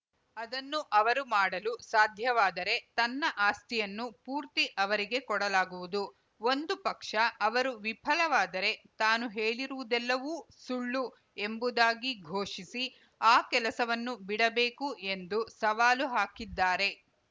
ಅದನ್ನು ಅವರು ಮಾಡಲು ಸಾಧ್ಯವಾದರೆ ತನ್ನ ಆಸ್ತಿಯನ್ನು ಪೂರ್ತಿ ಅವರಿಗೆ ಕೊಡಲಾಗುವುದು ಒಂದು ಪಕ್ಷ ಅವರು ವಿಫಲವಾದರೆ ತಾನು ಹೇಳಿರುವುದೆಲ್ಲವೂ ಸುಳ್ಳು ಎಂಬುದಾಗಿ ಘೋಷಿಸಿ ಆ ಕೆಲಸವನ್ನು ಬಿಡಬೇಕು ಎಂದು ಸವಾಲು ಹಾಕಿದ್ದಾರೆ